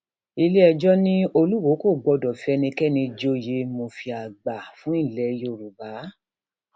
iléẹjọ ni olùwòo kò gbọdọ fi ẹnikẹni joyè mùfì àgbà fún ilẹ yorùbá